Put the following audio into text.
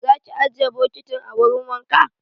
Za ki ajiye bokitin a wurin wanka?